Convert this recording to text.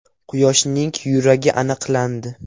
Quyoshning yuragi aniqlandi.